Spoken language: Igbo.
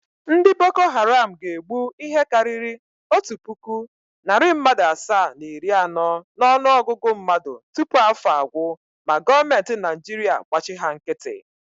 Ndị Boko Haram ga-egbu ihe karịrị otu puku, narị mmadụ asaa na iri anọ n’ọnụogụgụ mmadụ tupu afọ agwụ ma goomentị Naịjirịa gbachi ha nkịtị.